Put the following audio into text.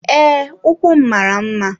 Ee, ụkwụ m mara mma.